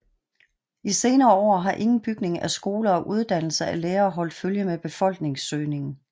I senere år har ingen bygning af skoler og uddannelse af lærere holdt følge med befolkningsøgningen